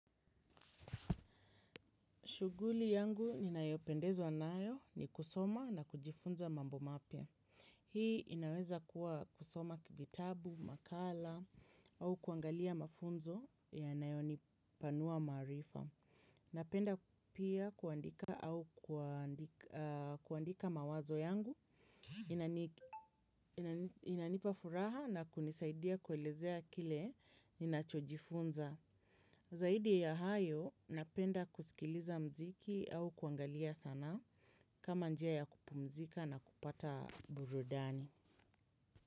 Shughuli yangu ninayopendezwa nayo ni kusoma na kujifunza mambo mapya. Hii inaweza kuwa kusoma vitabu, makala au kuangalia mafunzo yanayonipanua maarifa. Napenda pia kuandika mawazo yangu inanipa furaha na kunisaidia kuelezea kile ninachojifunza. Zaidi ya hayo, napenda kusikiliza mziki au kuangalia sanaa kama njia ya kupumzika na kupata burudani.